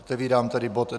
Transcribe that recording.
Otevírám tedy bod